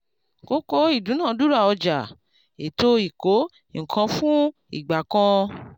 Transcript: kókó ìdúnadúrà ọjà ètò ìkó-nǹkan-fún- ìgbà kan.